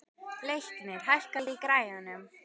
Leiknir, hækkaðu í græjunum.